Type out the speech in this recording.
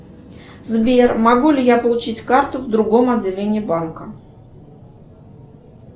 сбер могу ли я получить карту в другом отделении банка